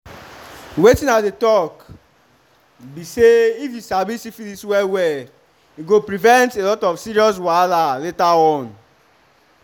wetin i dey talk be say if u sabi syphilis well well e go prevent a lot of serious wahala later on